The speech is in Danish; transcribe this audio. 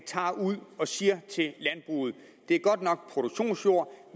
ud og siger til landbruget at det godt nok er produktionsjord